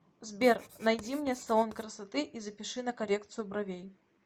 сбер найди мне салон красоты и запиши на коррекцию бровей